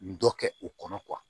Dɔ kɛ o kɔnɔ